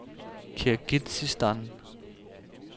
Kirgizistan